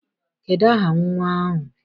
Kedụ aha nnwa ahụ?